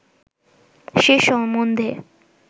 সে সম্বন্ধে